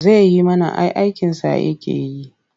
Zai yi mana ai aikinsa yake yi.